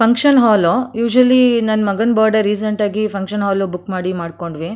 function ಹಾಲ usually ನನ್ನ ಮಗನ್ ಬರ್ಡೇ ರೀಸೆಂಟ್ ಆಗಿ ಫಂಕ್ಷನ್ ಹಾಲ್ ಲ್ಲಿ ಬುಕ್ ಮಾಡಿ ಮಾಡ್ಕೊಂಡ್ವಿ --